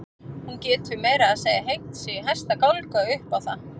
Hún getur meira að segja hengt sig í hæsta gálga upp á það.